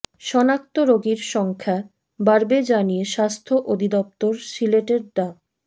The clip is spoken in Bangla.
শনাক্ত রোগীর সংখ্যা বাড়বে জানিয়ে স্বাস্থ্য অধিদপ্তর সিলেটের ডা